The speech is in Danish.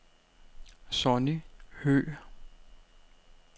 Sonny Høeg